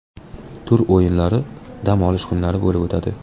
Tur o‘yinlari dam olish kunlari bo‘lib o‘tadi.